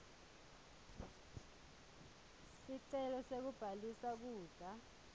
sicelo sekubhalisa kudla